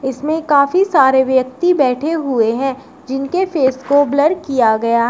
इसमें काफी सारे व्यक्ति बैठे हुए हैं जिनके फेस को ब्लर किया गया है।